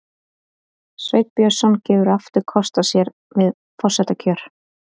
Sveinn Björnsson gefur aftur kost á sér við forsetakjör